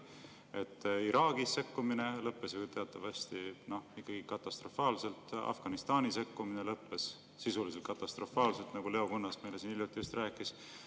Sekkumine Iraagis lõppes ju teatavasti ikkagi katastrofaalselt, sekkumine Afganistanis lõppes sisuliselt katastrofaalselt, nagu Leo Kunnas meile siin just hiljuti rääkis.